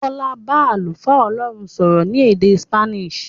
Bọ́lá bá àlùfáà Ọlọ́run sọ̀rọ̀ ní èdè Spanish.